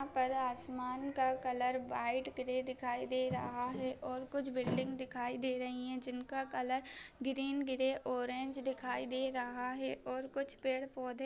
ऊपर आसमान का कलर वाइट ग्रे दिखाई दे रहा है और कुछ बिल्डिंग दिखाई दे रही है जिनका कलर ग्रीन ग्रे ऑरेंज दिखाई दे रहा है और कुछ पड़े पौधे--